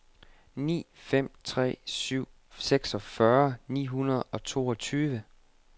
ni fem tre syv seksogfyrre ni hundrede og toogtyve